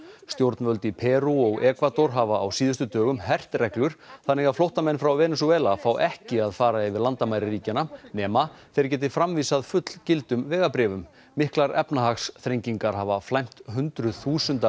stjórnvöld í Perú og Ekvador hafa á síðustu dögum hert reglur þannig að flóttamenn frá Venesúela fá ekki að fara yfir landamæri ríkjanna nema þeir geti framvísað fullgildum vegabréfum miklar efnahagsþrengingar hafa flæmt hundruð þúsunda